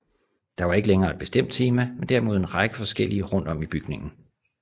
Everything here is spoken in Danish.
Der var ikke længere et bestemt tema men derimod en række forskellige rundt om i bygningen